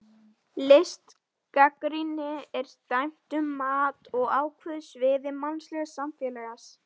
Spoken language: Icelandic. Listgagnrýni er dæmi um mat á ákveðnu sviði mannlegs samfélags.